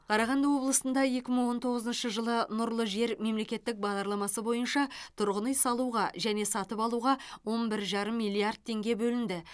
қарағанды облысында екі мың он тоғызыншы жылы нұрлы жер мемлекеттік бағдарламасы бойынша тұрғын үй салуға және сатып алуға он бір жарым миллиард теңге бөлінді